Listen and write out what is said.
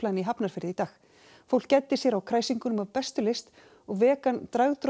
í Hafnarfirði í dag fólk gæddi sér á kræsingunum af bestu lyst og vegan